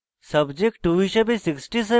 subject 2 হিসাবে 67